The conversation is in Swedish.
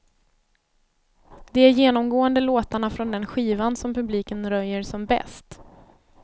Det är genomgående låtarna från den skivan som publiken röjer som bäst.